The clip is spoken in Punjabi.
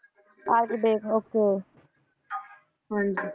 Okay ਹਾਂਜੀ।